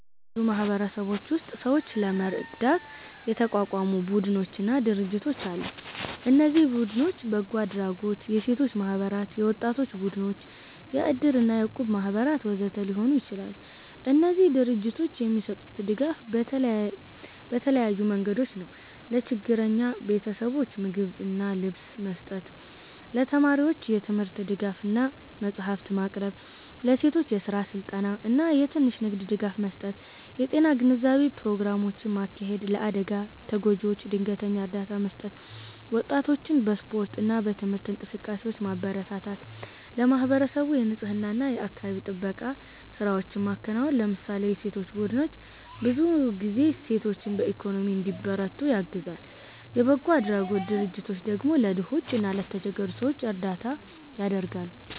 አዎ፣ በብዙ ማህበረሰቦች ውስጥ ሰዎችን ለመርዳት የተቋቋሙ ቡድኖችና ድርጅቶች አሉ። እነዚህ ቡድኖች በጎ አድራጎት፣ የሴቶች ማህበራት፣ የወጣቶች ቡድኖች፣ የእድር እና የእቁብ ማህበራት ወዘተ ሊሆኑ ይችላሉ። እነዚህ ድርጅቶች የሚሰጡት ድጋፍ በተለያዩ መንገዶች ነው፦ ለችግረኛ ቤተሰቦች ምግብና ልብስ መስጠት ለተማሪዎች የትምህርት ድጋፍ እና መጽሐፍት ማቅረብ ለሴቶች የስራ ስልጠና እና የትንሽ ንግድ ድጋፍ መስጠት የጤና ግንዛቤ ፕሮግራሞችን ማካሄድ ለአደጋ ተጎጂዎች ድንገተኛ እርዳታ መስጠት ወጣቶችን በስፖርት እና በትምህርት እንቅስቃሴዎች ማበረታታት ለማህበረሰቡ የንፅህና እና የአካባቢ ጥበቃ ስራዎችን ማከናወን ለምሳሌ የሴቶች ቡድኖች ብዙ ጊዜ ሴቶችን በኢኮኖሚ እንዲበረቱ ያግዛሉ፣ የበጎ አድራጎት ድርጅቶች ደግሞ ለድሆች እና ለተቸገሩ ሰዎች እርዳታ ያደርጋሉ።